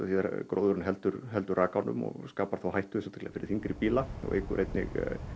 gróðurinn heldur heldur rakanum og skapar þá hættu sérstaklega fyrir þyngri bíla og eykur einnig